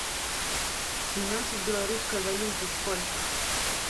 семнадцать в белорусской валюте сколько